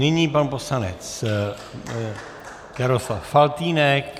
Nyní pan poslanec Jaroslav Faltýnek.